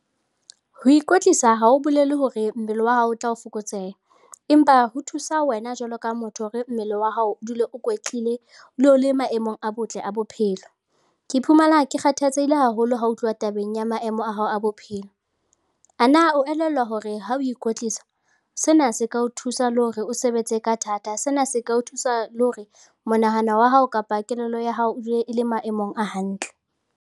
Ho ikwetlisa ha ho bolele hore mmele wa hao o tla o fokotseha, empa ho thusa wena jwalo ka motho hore mmele wa hao o dule o kwetlile le maemong a botle a bophelo. Ke iphumana ke kgathatsehile haholo ha ho tluwa tabeng ya maemo a hao a bophelo. Ana o elellwa hore ha o ikwetlisa sena se ka o thusa le hore o sebetse ka thata? Sena se ka o thusa le hore monahano wa hao kapa kelello ya hao e dule e le maemong a hantle.